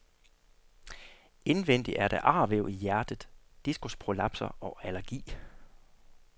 Indvendig er der arvæv i hjertet, diskusprolapser og allergi.